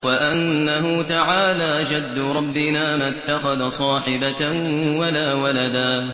وَأَنَّهُ تَعَالَىٰ جَدُّ رَبِّنَا مَا اتَّخَذَ صَاحِبَةً وَلَا وَلَدًا